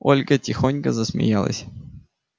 ольга тихонько засмеялась